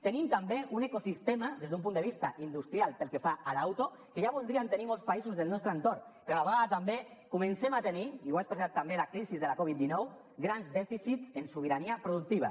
tenim també un ecosistema des d’un punt de vista industrial pel que fa a l’auto que ja voldrien tenir molts països del nostre entorn però a la vegada també comencem a tenir i ho ha expressat també la crisi de la covid dinou grans dèficits en sobirania productiva